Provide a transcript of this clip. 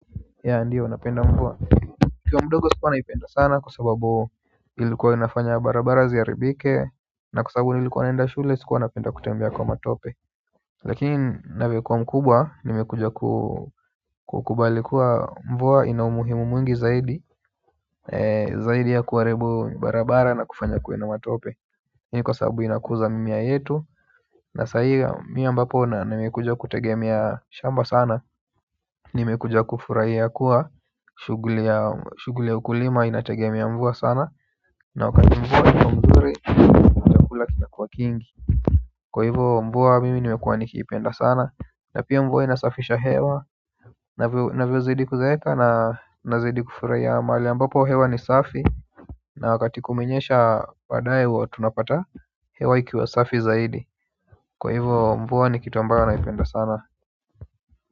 Yea ndio napenda mvua nikiwa mdogo sikuwa naipenda sana kwa sababu ilikuwa inafanya barabara ziharibike na kwa sababu nilikuwa naenda shule sikuwa napenda kutembea kwa matope lakini navyokuwa mkubwa nimekuja ku kukubali kuwa mvua ina umuhimu mwingi zaidi zaidi ya kuharibu barabara na kufanya kuwe na matope hii ni kwa sababu inakuza mimea yetu na sahii mimi ambapo nimekuja kutegemea shamba sana. Nimekuja kufurahia kuwa shughuli ya shughuli ya ukulima inategemea mvua sana na wakati mvua iko mzuri chakula kinakuwa kingi kwa hivo mvua mimi nimekuwa nikiipenda sana na pia mvua inasafisha hewa navyozidi kuzeeka nazidi kufurahia mahali ambapo hewa ni safi na wakati kumenyesha baadaye huwa tunapata hewa ikiwa safi zaidi kwa hivo mvua ni kitu ambayo naipenda sana.